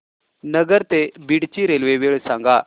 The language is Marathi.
नगर ते बीड ची रेल्वे वेळ सांगा